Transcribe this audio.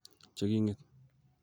che king'et.